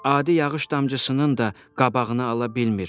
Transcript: Adi yağış damcısının da qabağını ala bilmir.